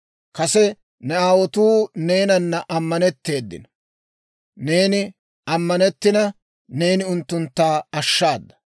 Kase nu aawotuu neenan ammanetteedino; neenan ammanettina, neeni unttuntta ashshaada.